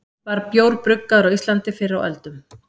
var bjór bruggaður á íslandi fyrr á öldum